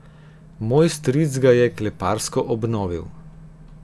Moj stric ga je kleparsko obnovil.